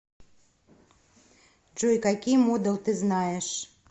джой какие модал ты знаешь